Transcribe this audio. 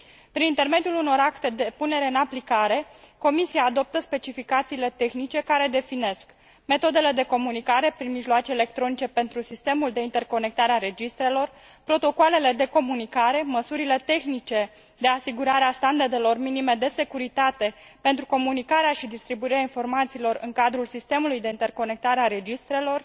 Prin intermediul unor acte de punere în aplicare, Comisia adoptă specificațiile tehnice, care definesc metodele de comunicare prin mijloace electronice pentru sistemul de interconectare a registrelor, protocoalele de comunicare, măsurile tehnice de asigurare a standardelor minime de securitate pentru comunicarea și distribuirea informațiilor în cadrul sistemului de interconectare a registrelor,